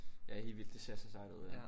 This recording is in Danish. Ja helt vildt det ser så sejt ud ja